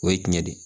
O ye tiɲɛ de ye